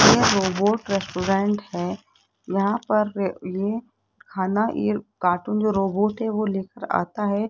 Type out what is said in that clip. यह robot restaurant है यहां पर र ये खाना ये कार्टून रोबोट है वो लेकर आता है।